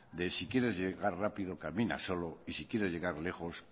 de si quieres llegar rápido camino solo y si quieres llegar lejos